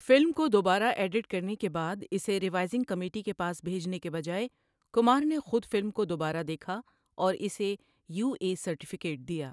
Film کو دوبارہ edit کرنے کے بعد، اسے ریوائزنگ کمیٹی کے پاس بھیجنے کے بجائے، کمار نے خود فلم کو دوبارہ دیکھا اور اسے یو اے سرٹیفکیٹ دیا۔